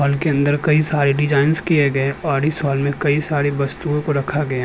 hall के अंदर कई सारे डिजाइन किए गए औरी साल मे कई सारी वस्तुए को रखा गया --